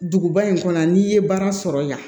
Duguba in kɔnɔ n'i ye baara sɔrɔ yan